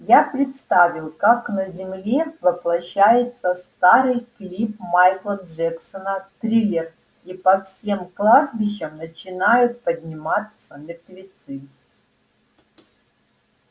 я представил как на земле воплощается старый клип майкла джексона триллер и по всем кладбищам начинают подниматься мертвецы